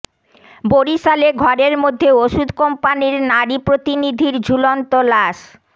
বরিশালে ঘরের মধ্যে ওষুধ কোম্পানির নারী প্রতিনিধির ঝুলন্ত লাশ